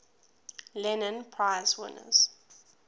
lenin prize winners